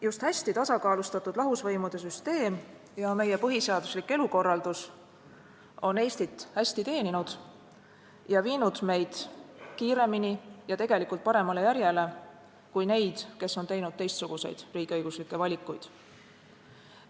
Just hästi tasakaalustatud lahusvõimude süsteem ja meie põhiseaduslik elukorraldus on Eestit hästi teeninud ning viinud meid kiiremini paremale järjele kui neid, kes on teinud teistsuguseid riigiõiguslikke valikuid.